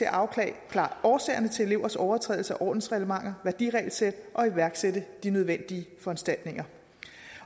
at afklare årsagerne til elevers overtrædelse af ordensreglementer værdiregelsæt og iværksætte de nødvendige foranstaltninger